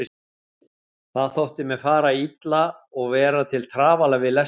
Það þótti mér fara illa og vera til trafala við lesturinn.